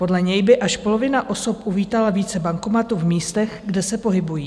Podle něj by až polovina osob uvítala více bankomatů v místech, kde se pohybují.